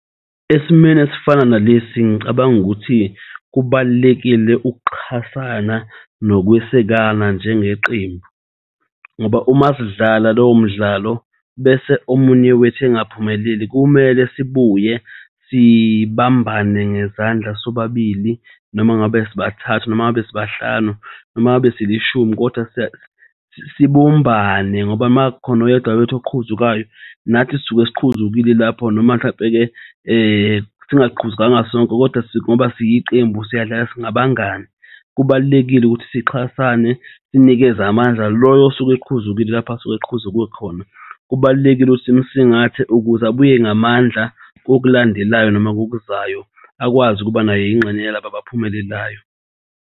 Esimweni esifana nalesi ngicabanga ukuthi kubalulekile ukuxhasana nokwesekana njengeqembu, ngoba umasidlala lowo mdlalo bese omunye wethu engaphumeleli kumele sibuye sibambane ngezandla sobabili, noma ngabe sibathathu noma ngabe sibahlanu, noma ngabe silishumi kodwa sibumbane ngoba uma kukhona oyedwa wethu oqhuzukayo nathi sisuke siqhuzukile lapho noma mhlampe-ke singaqhuzukanga sonke kodwa ngoba siyiqembu siyadlala singabangani. Kubalulekile ukuthi sixhasane sinikeze amandla loyo osuke eqhuzukile lapho asuke eqhuzuke khona. Kubalulekile ukuthi simusingathe ukuze abuye ngamandla kokulandelayo noma ngokuzayo akwazi ukuba naye ingxenye yalaba abaphumelelayo.